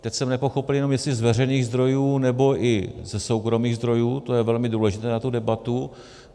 Teď jsem nepochopil jenom, jestli z veřejných zdrojů, nebo i ze soukromých zdrojů, to je velmi důležité pro tu debatu.